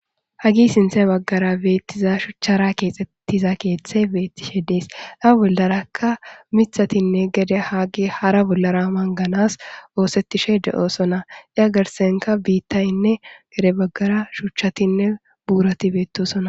Hagi sinthe baggara beettiza shuchchara keexxettiza keeththe beettishe de7ees. A bollaraka mithatinne gede haagi hara bollara manganas oosettishe de7osona. Iya garsenka biittayinne gede baggara shuchatinne buurati beettosona.